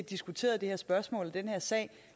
diskuteret det her spørgsmål i den her sag